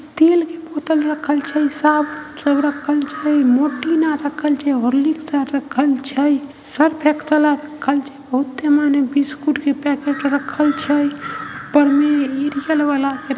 तेल के बोतल रखल छै। साबुन सब रखल छै। मोटिन आर रखल छै। हॉर्लिक्स आर रखल छै। सर्फ़ एक्सल आर रखल छै। बहुते माने बिस्कुट के पैकेट आर रखल छै ऊपर में रियल वला---